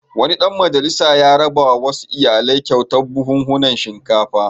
Wani ɗan majalisa ya rabawa wasu iyalai kyautar buhhunan shinkafa.